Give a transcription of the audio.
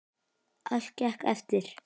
Allt gekk eftir.